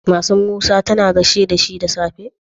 Matar musa tAna gaishe dashi da safe?